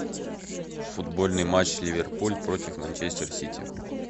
футбольный матч ливерпуль против манчестер сити